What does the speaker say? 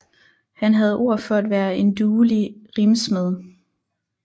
Han havde ord for at være en duelig rimsmed